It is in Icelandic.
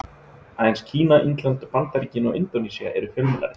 Aðeins Kína, Indland, Bandaríkin og Indónesía eru fjölmennari.